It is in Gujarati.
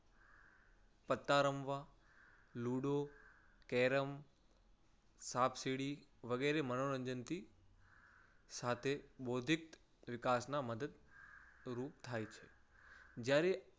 પત્તા રમવા, લુડો, કેરમ, સાપસીડી વગેરે મનોરંજનથી સાથે બોધિક વિકાસમાં મદદ રૂપ થાય છે. જ્યારે